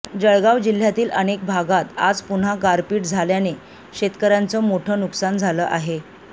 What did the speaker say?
जळगाव जिल्ह्यातील अनेक भागात आज पुन्हा गारपीट झाल्याने शेतकऱ्यांचं मोठं नुकसान झालं आहे